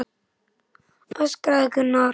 öskraði Gunnar.